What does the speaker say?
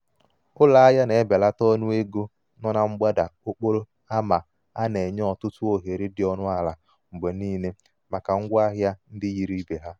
ụlọ ahịa na-ebelata ọnụ ego nọ na mgbada okporo ama a na-enye ọtụtụ ohere dị ọnụ ala mgbe niile maka ngwa ahịa ndị yiri ibe ha.